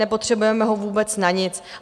Nepotřebujeme ho vůbec na nic.